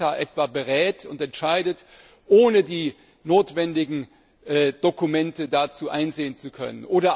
B. ACTA berät und entscheidet, ohne die notwendigen Dokumente dazu einsehen zu können.